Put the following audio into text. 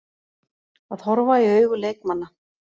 Að horfa í augu leikmanna